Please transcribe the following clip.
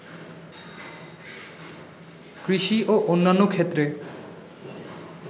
কৃষি ও অন্যান্য ক্ষেত্রে